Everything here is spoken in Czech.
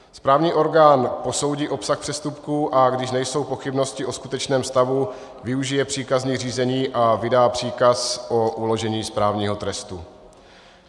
Správní orgán posoudí obsah přestupků, a když nejsou pochybnosti o skutečném stavu, využije příkazní řízení a vydá příkaz o uložení správního trestu.